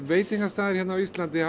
veitingastaðir á Íslandi